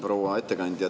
Proua ettekandja!